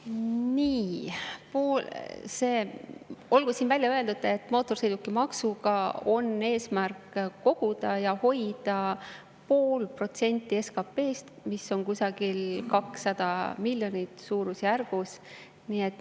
Nii, olgu siin välja öeldud, et mootorsõidukimaksuga on eesmärk koguda pool protsenti SKP-st, mis on suurusjärgus 200 miljonit.